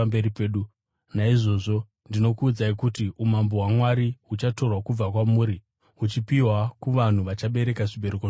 “Naizvozvo ndinokuudzai kuti umambo hwaMwari huchatorwa kubva kwamuri huchipiwa kuvanhu vachabereka zvibereko zvahwo.